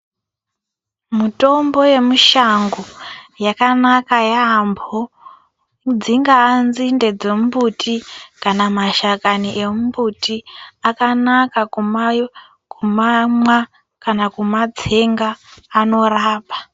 Mutombo yemushango yakanaka yampo dzingaa nzinde dzembuti kana mashakani emimbuti akanaka kumayo kumamwa kana kumatsenga anorapa .